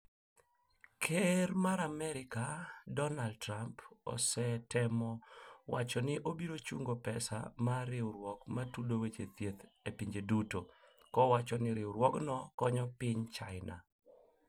Ker mar Amerika, Donald Trump osetemo wacho ni obiro chungo pesa ma riwruok ma tudo weche thieth e pinje duto , kowacho ni riwruogno konyo piny China